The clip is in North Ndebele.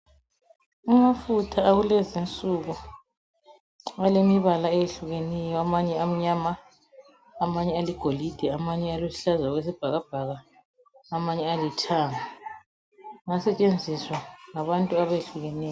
Amafutha akulezi insuku alemibala eyehlukeneyo. Amanye amnyama amanye aligolide amanye aluhlaza okwesibhakabhaka amanye alithanga. Ayasetshenziswa ngabantu abehlukeneyo.